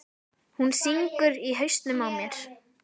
Hún syngur í hausnum á mér.